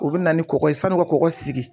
U bɛ na ni kɔkɔ ye san'u ka kɔkɔ sigi